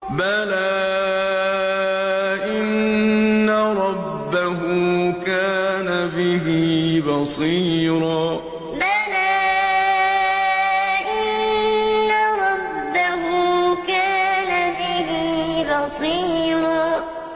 بَلَىٰ إِنَّ رَبَّهُ كَانَ بِهِ بَصِيرًا بَلَىٰ إِنَّ رَبَّهُ كَانَ بِهِ بَصِيرًا